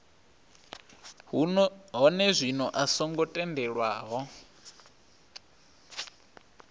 hone zwino a songo tendelwaho